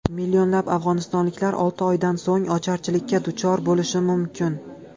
Millionlab afg‘onistonliklar olti oydan so‘ng ocharchilikka duchor bo‘lishi mumkin.